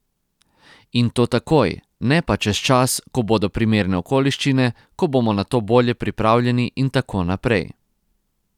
In to takoj, ne pa čez čas, ko bodo primerne okoliščine, ko bomo na to bolje pripravljeni in tako naprej.